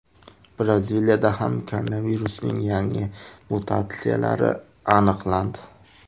Braziliyada ham koronavirusning yangi mutatsiyalari aniqlandi .